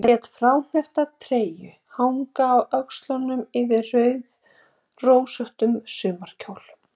Lét fráhneppta treyju hanga á öxlunum yfir rauðrósóttum sumarkjól.